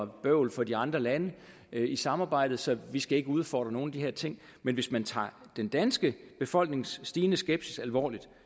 bøvl for de andre lande i samarbejdet så vi skal ikke udfordre nogle af de her ting men hvis man tager den danske befolknings stigende skepsis alvorligt